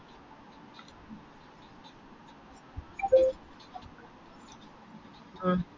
അഹ്